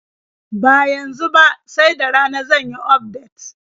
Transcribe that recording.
Ba yanzu ba, sai da rana zan yi ufdet.